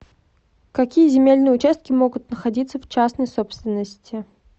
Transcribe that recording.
какие земельные участки могут находиться в частной собственности